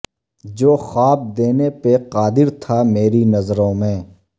جو خواب دینے پہ قادر تھا میری نظروں میں